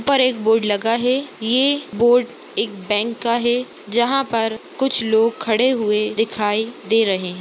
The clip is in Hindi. यहाँ पर एक बोर्ड लगा है ये बोर्ड एक बैंक का है जहाँ पर कुछ लोग खड़े हुए दिखाई दे रहे है।